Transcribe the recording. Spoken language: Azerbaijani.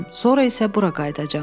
Sonra isə bura qayıdacam.